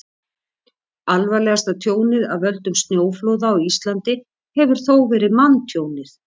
alvarlegasta tjónið af völdum snjóflóða á íslandi hefur þó verið manntjónið